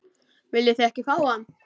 Viljið þið ekki fá hann?